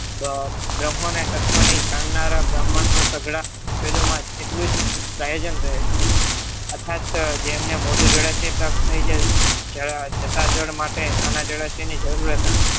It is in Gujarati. બ્રમ્હોને તત્વની જાણનારા બ્રાહ્મણો સઘળા એટલું જ પ્રયોજન રહે છે યથાર્થ જેમને મોટું જળાશય પ્રાપ્ત થઈ જાય જતા જળ માટે નાના જળાશયની જરૂરત આવે